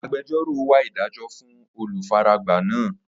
Agbẹjọ́rò wa idajọ fun olufaragba naa.